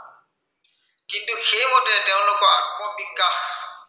কিন্তু সেইমতে তেওঁলোকৰ আত্মবিকাশ